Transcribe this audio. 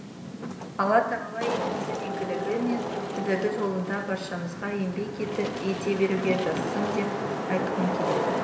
алла тағала еліміздің игілігі мен бірлігі жолында баршаңызға еңбек ете беруге жазсын деп айтқым келеді